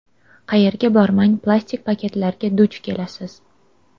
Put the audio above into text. Qayerga bormang plastik paketlarga duch kelasiz.